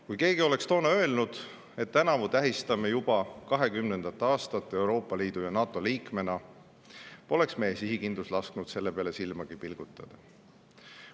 Kui keegi oleks toona öelnud, et tänavu tähistame juba Eesti 20. aastat Euroopa Liidu ja NATO liikmena, poleks meie sihikindlus lasknud selle peale silmagi pilgutada.